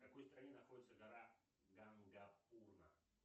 в какой стране находится гора гангапурна